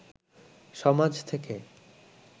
সমাজ থেকে